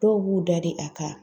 Dɔw b'u da de a ka